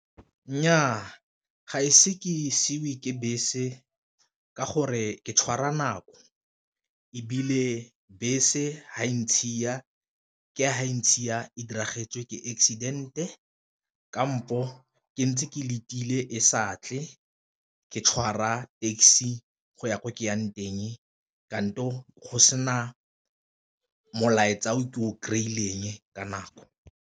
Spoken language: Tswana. Nnyaa ga ise ke siiwe ke bese ka gore ke tshwara nako, ebile bese fa e ntshiwa ke fa e ntshiwa e ke accident-e kampo ke ntse ke letile e sa tle ke tshwara taxi go ya ko ke yang teng go sena molaetsa o ke o kry-ileng ka nako.